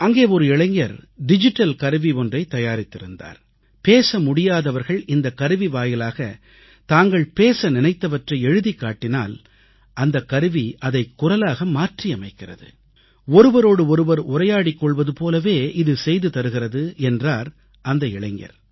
அங்கே ஒரு இளைஞர் டிஜிட்டல் கருவி ஒன்றை தயாரித்திருந்தார் பேச முடியாதவர்கள் இந்தக் கருவி வாயிலாகத் தாங்கள் பேச நினைத்தவற்றை எழுதிக்காட்டினால் அந்தக் கருவி அதைக் குரலாக மாற்றியமைக்கிறது ஒருவரோடு ஒருவர் உரையாடிக் கொள்வது போலவே இது செய்துதருகிறது என்றார் அந்த இளைஞர்